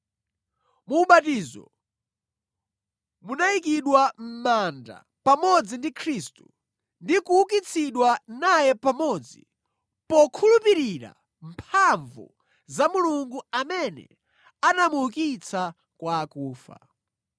Mu ubatizo, munayikidwa mʼmanda pamodzi ndi Khristu ndi kuukitsidwa naye pamodzi, pokhulupirira mphamvu za Mulungu amene anamuukitsa kwa akufa.